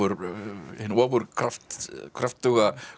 hinn ofurkröftuga